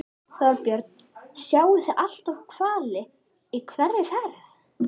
Þorbjörn: Sjáið þið alltaf hvali í hverri ferð?